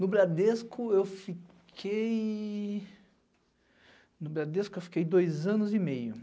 No Bradesco eu fiquei... No Bradesco eu fiquei dois anos e meio.